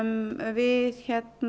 við